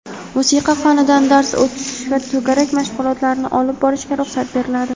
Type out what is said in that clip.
musiqa fanidan dars o‘tish va to‘garak mashg‘ulotlarini olib borishga ruxsat beriladi.